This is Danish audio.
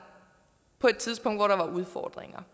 på et tidspunkt hvor der var udfordringer